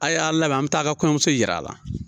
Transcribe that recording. A y'a labɛn, an bi taa a ka kɔɲɔnmuso yira a la.